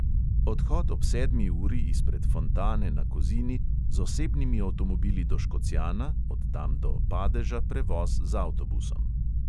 Odhod ob sedmi uri izpred fontane na kozini z osebnimi avtomobili do škocjana, od tam do padeža prevoz z avtobusom.